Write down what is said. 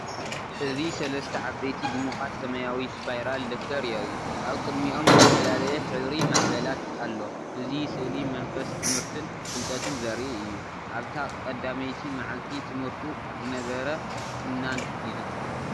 እዚ ሰለስተ ዓበይቲ ድሙቓት ሰማያዊ ስፓይራል ደፍተር የርኢ። ኣብ ቅድሚኦም ዝተፈላለየ ሕብራዊ ማዕበላት ኣሎ። እዚ ስእሊ መንፈስ ትምህርትን ፍልጠትን ዘርኢ እዩ። ኣብታ ቀዳመይቲ መዓልቲ ትምህርቱ ዝነበረ ፍናን ይዝክር።